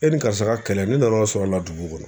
E ni karisa ka kɛlɛ ne nana sɔrɔla dugu kɔnɔ.